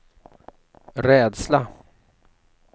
rädsla